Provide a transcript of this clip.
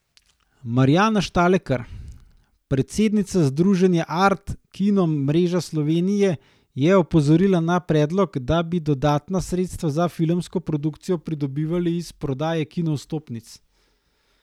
Marjana Štalekar, predsednica združenja Art kino mreža Slovenije, je opozorila na predlog, da bi dodatna sredstva za filmsko produkcijo pridobivali iz prodaje kinovstopnic.